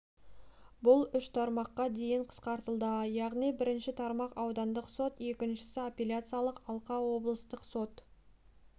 бұл үш тармаққа дейін қысқартылды яғни бірінші тармақ аудандық сот екіншісі апелляциялық алқа облыстық сот